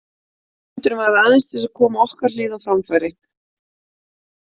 Fundurinn var aðeins til að koma okkar hlið á framfæri.